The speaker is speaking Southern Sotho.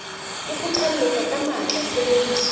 o kgothalletsa ka matla tshebediso